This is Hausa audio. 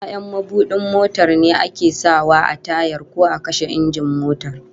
Ya'yan mabudin motar ne ake sa wa a tayar ko a kashe injin motar